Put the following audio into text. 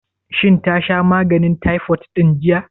Shin ta sha maganin taifot ɗin jiya?